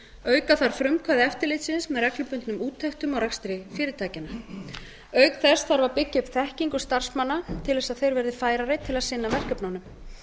auka þarf frumkvæði eftirlitsins með reglubundnum úttektum á rekstri fyrirtækjanna auk þess þarf að byggja upp þekkingu starfsmanna til þess að þeir verði færari til að sinna verkefnunum